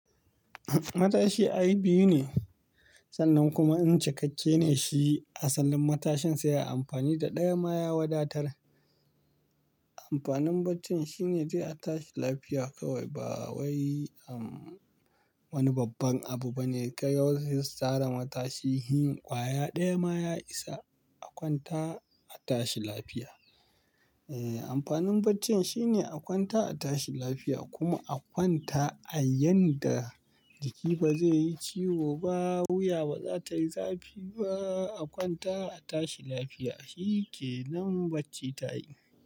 Matashi ai biyu ne, sannan kuma in cikakke ne shi a sallin matashin sai an yi amfani da ɗaya ma ya wadatar. Amfanin bacci shine dai a tashi lafiya kawai. Ba wai, um, wani babban abu bane ka yau sai sare matashi. Hin ƙwaya ɗaya ma ya isa a kwanta a tashi lafiya. Eh, amfanin bacci shine a kwanta a tashi lafiya kuma a kwanta a yanda jiki ba zai yi ciwo ba, wuya ba za ta yi zafi ba. A kwanta a tashi lafiya shi ke. Nan bacci ta yi.